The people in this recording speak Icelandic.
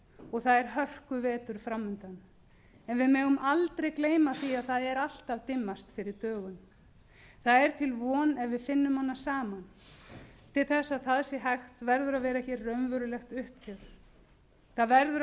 og það er hörkuvetur fram undan en við megum aldrei gleyma því að það er alltaf dimmast fyrir dögun það er til von ef við finnum hana saman til þess að það sé hægt verður að vera hér raunverulegt uppgjör það verður að